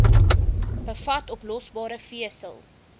bevat oplosbare vesel